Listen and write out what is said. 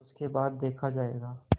उसके बाद देखा जायगा